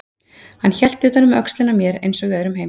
Hann hélt utan um öxlina á mér eins og í öðrum heimi.